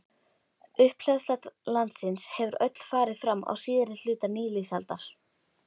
Upphleðsla landsins hefur öll farið fram á síðari hluta nýlífsaldar.